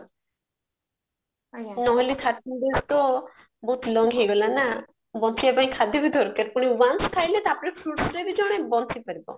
ନହେଲେ ବଞ୍ଚିବା ପାଇଁ ଖାଦ୍ୟ ବି ଦରକାର ପୁଣି once ଖାଇଲେ ତାପରେ fruitsରେ ବି ଜଣେ ବଞ୍ଚିପାରିବା